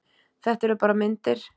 Þetta eru bara myndir!